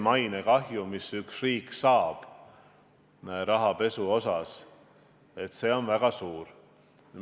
Mainekahju, mis üks riik saab rahapesu tõttu, on väga suur.